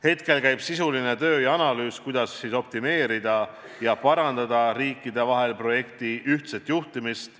Hetkel käib sisuline töö ja analüüs, kuidas optimeerida ja parandada riikide vahel projekti ühtset juhtimist.